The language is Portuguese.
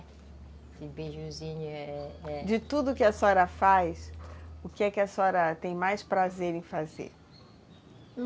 Esse beijuzinho é é é... De tudo que a senhora faz, o que é que a senhora tem mais prazer em fazer?